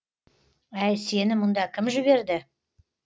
әй сені мұнда кім жіберді